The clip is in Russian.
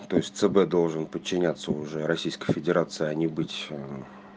то есть цб должен подчиняться уже российской федерации а не быть